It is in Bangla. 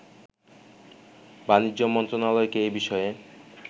বাণিজ্য মন্ত্রণালয়কে এ বিষয়ে